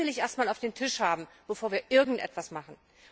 Die will ich erst einmal auf dem Tisch haben, bevor wir irgendetwas machen.